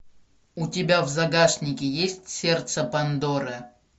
у тебя в загашнике есть сердце пандоры